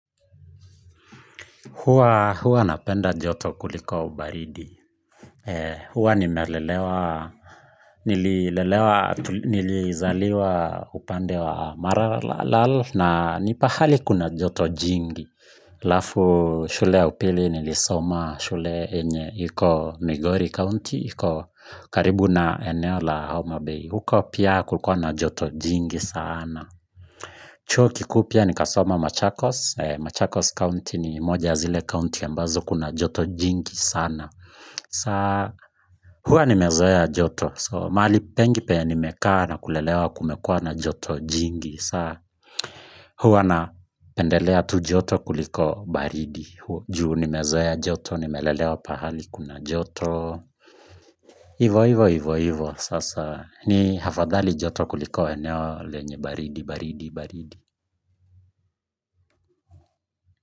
Huwa napenda joto kuliko baridi. Huwa nimelelewa, nilizaliwa upande wa maralal na ni pahali kuna joto jingi. Alafu shule ya upili nilisoma shule yenye. Iko Migori County, iko karibu na eneo la Homa Bay. Huko pia kulikua na joto jingi sana. Chuo kikuu pia ni kasoma Machakos. Machakos County ni moja ya zile county ambazo kuna joto jingi sana. Saa huwa nimezoea joto so mahali pengi penye nimekaa na kulelewa kumekua na joto jingi sana huwa na pendelea tu joto kuliko baridi juu nimezoea joto nimelelewa pahali kuna joto ivo ivo ivo ivo sasa ni afadhali joto kuliko eneo lenye baridi baridi baridi.